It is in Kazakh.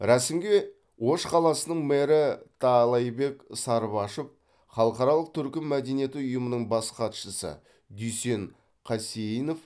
рәсімге ош қаласының мэрі таалайбек сарыбашов халықаралық түркі мәдениеті ұйымының бас хатшысы дүйсен қасейінов